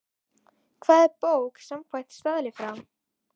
Hvað er bók samkvæmt staðli frá